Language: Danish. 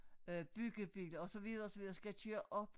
Øh byggebiler og så videre og så videre skal køre op